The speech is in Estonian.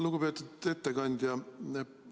Lugupeetud ettekandja!